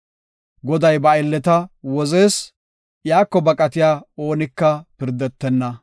Goday ba aylleta wozees; iyako baqatiya oonika pirdetenna.